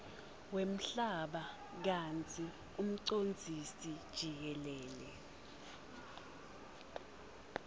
wemhlaba kantsi umcondzisijikelele